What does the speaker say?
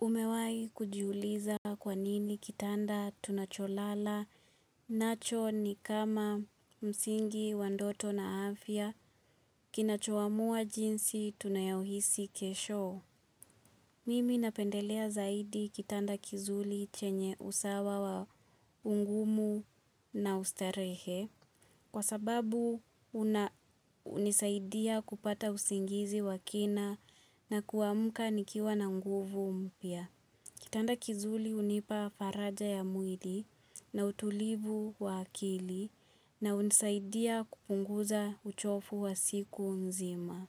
Umewai kujiuliza kwa nini kitanda tunacholala nacho ni kama msingi wa ndoto na afya kinachoamua jinsi tunayohisi kesho. Mimi napendelea zaidi kitanda kizuli chenye usawa wa ungumu na ustarehe. Kwa sababu hunisaidia kupata usingizi wakina na kuamka nikiwa na nguvu mpya. Kitanda kizuli hunipa faraja ya mwili na utulivu wa akili na hunisaidia kupunguza uchofu wa siku mzima.